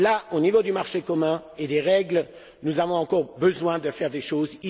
Au niveau du marché commun et des règles, nous avons encore besoin de faire des choses.